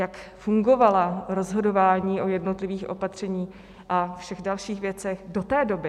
Jak fungovala rozhodování o jednotlivých opatřeních a všech dalších věcech do té doby?